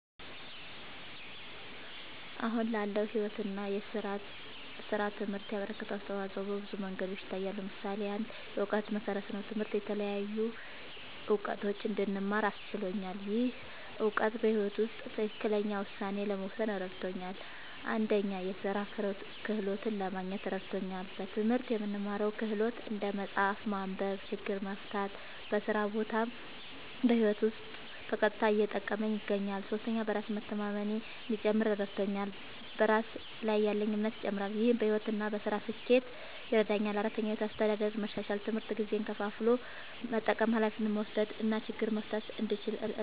አሁን ላለው ሕይወት እና ሥራ ትምህርት ያበረከተው አስተዋጾ በብዙ መንገዶች ይታያል። ምሳሌ ፩, የእውቀት መሠረት ነዉ። ትምህርት የተለያዩ እዉቀቶችን እንድማር አስችሎኛል። ይህ እውቀት በሕይወት ውስጥ ትክክለኛ ውሳኔ ለመወሰን እረድቶኛል። ፪, የሥራ ክህሎት ለማግኘት እረድቶኛል። በትምህርት የምንማረው ክህሎት (እንደ መጻፍ፣ ማንበብ፣ ችግር መፍታ) በስራ ቦታም በህይወቴም ዉስጥ በቀጥታ እየጠቀመኝ ይገኛል። ፫. በራስ መተማመኔ እንዲጨምር እረድቶኛል። በራስ ላይ ያለኝ እምነትም ይጨምራል። ይህ በሕይወት እና በሥራ ስኬት ይረዳኛል። ፬,. የሕይወት አስተዳደር መሻሻል፦ ትምህርት ጊዜን ከፋፍሎ መጠቀም፣ ኃላፊነት መውሰድ እና ችግር መፍታት እንድችል እረድቶኛል።